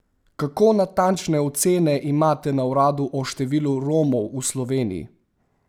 Kako natančne ocene imate na uradu o številu Romov v Sloveniji?